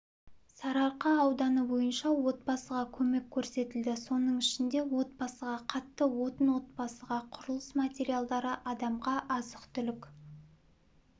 сарыарқа ауданы бойынша отбасыға көмек көрсетілді соның ішінде отбасыға қатты отын отбасыға құрылыс материалдары адамға азық-түлік